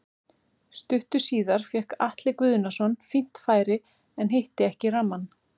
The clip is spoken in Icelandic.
Stuttu síðar fékk Atli Guðnason fínt færi en hitti ekki rammann.